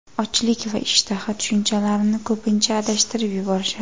Ochlik va ishtaha tushunchalarini ko‘pincha adashtirib yuborishadi.